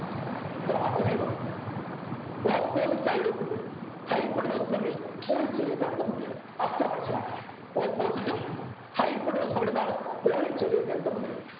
ഇത്രമാത്രമേയുള്ളു Opposite side ഉം hypotenuse ഉം തമ്മിൽ ഒരു ചെറിയ ബന്ധമുണ്ട് അത്ര മനസിലാക്കുക Opposite ഉം hypotenuse ഉം തമ്മിൽ എന്താണ് ഒരു ചെറിയ ബന്ധമുണ്ട്